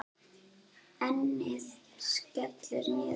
Ennið skellur niður.